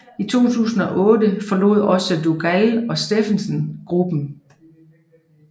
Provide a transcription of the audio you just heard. I 2008 forlod også Dougall og Stephens gruppen